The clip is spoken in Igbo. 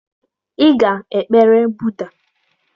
Ị ga-ekpere Buda.